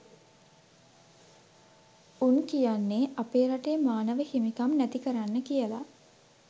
උන් කියන්නේ අපේ රටේ මානව හිමිකම් නැති කරන්න කියල